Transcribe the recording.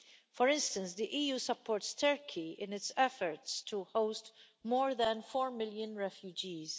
For instance, the EU supports Turkey in its efforts to host more than 4 million refugees.